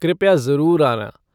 कृपया जरुर आना।